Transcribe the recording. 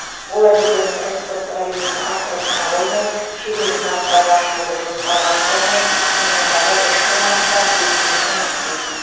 олар өздерінің экспорттық әлеуетін арттырып қана қоймай шетелдік нарықтарға шығуды жоспарлап қоймай сонымен қатар ішкі нарықта белсенді жұмыс істейді